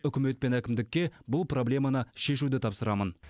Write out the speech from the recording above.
үкімет пен әкімдікке бұл проблеманы шешуді тапсырамын